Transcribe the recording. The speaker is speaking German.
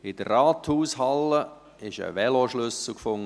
In der Rathaushalle wurde ein Veloschlüssel gefunden.